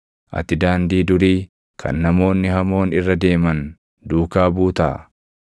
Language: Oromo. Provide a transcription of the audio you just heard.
Ati daandii durii kan namoonni hamoon irra deeman duukaa buutaa?